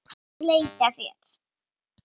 Hvernig muntu beita þér?